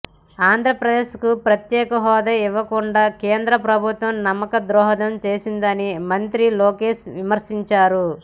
ఆంధ్రప్రదేశ్కు ప్రత్యేక హోదా ఇవ్వకుండా కేంద్ర ప్రభుత్వం నమ్మక ద్రోహం చేసిందని మంత్రి లోకేష్ విమర్శించారు